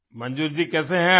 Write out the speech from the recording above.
मंजूर जी कैसे हैं आप